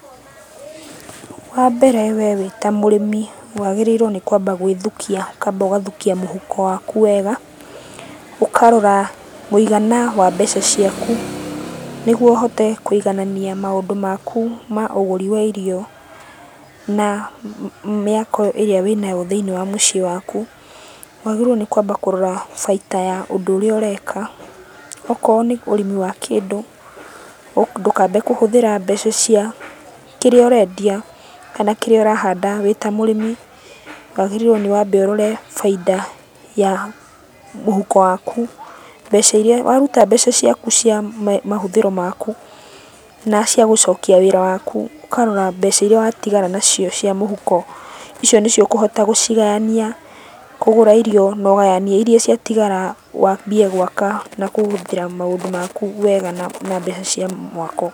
Wambere we wĩ ta mũrĩmi wagĩrĩirwo nĩ kwamba gwĩthukia , ũkamba ũgathukia mũhuko waku wega. Ũkarora mũigana wa mbeca ciaku nĩguo ũhote kũiganania maũndũ maku ma ũgũri wa irio na mĩako ĩrĩa wĩnayo thĩiniĩ wa mũciĩ waku. Wagĩrĩirwo nĩ kwamba kũrora baita ya ũndũ ũrĩa ũreka, okorwo nĩ ũrĩmi wa kĩndũ, ndũkambe kũhũthĩra mbeca cia kĩrĩa ũrendia kana kĩrĩa ũrahanda wĩ ta mũrĩmi. Wagĩrĩirwo nĩ wambe ũrore bainda ya mũhuko waku, mbeca iria , waruta mbeca ciaku cia mahũthĩro maku na cia gũcokia wĩra waku, ũkarora mbeca iria watigara nacio cia mũhuko. Icio nĩcio ũkũhota gũcigayania kũgũra irio na ũgayanie iria ciatigara, wambie gwaka na kũhũthĩra maũndũ maku wega na mbeca cia mwako.